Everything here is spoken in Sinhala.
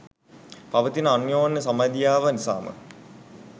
පවතින අනෝන්‍ය සබැඳියාව නිසාම